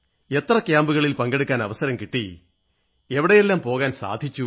എത്ര ക്യാമ്പുകളിൽ പങ്കെടുക്കാൻ അവസരം കിട്ടി എവിടെല്ലാം പോകാൻ സാധിച്ചു